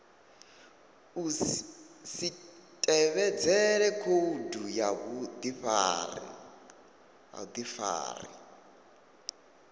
si tevhedzele khoudu ya vhudifari